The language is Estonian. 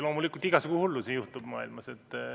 Loomulikult, igasugu hullusi juhtub maailmas.